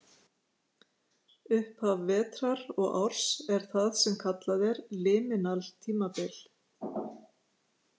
Upphaf vetrar og árs er það sem kallað er liminal tímabil.